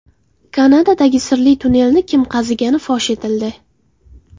Kanadadagi sirli tunnelni kim qazigani fosh etildi.